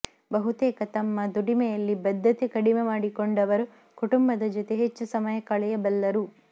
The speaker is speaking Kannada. ಬಹುತೇಕ ತಮ್ಮ ದುಡಿಮೆಯಲ್ಲಿ ಬದ್ಧತೆ ಕಡಿಮೆ ಮಾಡಿಕೊಂಡವರು ಕುಟುಂಬದ ಜತೆ ಹೆಚ್ಚು ಸಮಯ ಕಳೆಯಬಲ್ಲರು